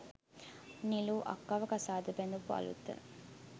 නිලු අක්කව කසාද බැඳපු අලුත.